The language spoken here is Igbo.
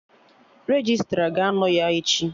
Registra ga-anọ ya echi